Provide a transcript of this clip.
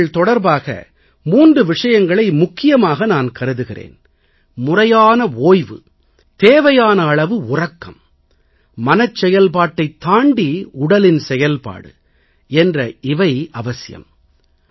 தேர்வுகள் தொடர்பாக 3 விஷயங்களை முக்கியமாக நான் கருதுகிறேன் முறையான ஓய்வு தேவையான அளவு உறக்கம் மனச் செயல்பாட்டைத் தாண்டி உடலின் செயல்பாடு என்ற இவைகள் அவசியம்